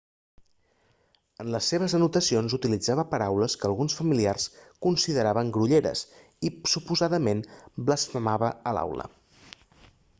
en les seves anotacions utilitzava paraules que alguns familiars consideraven grolleres i suposadament blasfemava a l'aula